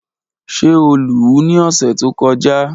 Ṣe o lu u ni ọsẹ to kọja?